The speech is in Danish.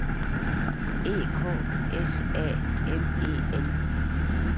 E K S A M E N